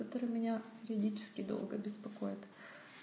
который меня юридический долго беспокоит